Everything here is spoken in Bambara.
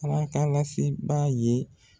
Ala ka lasebaa ye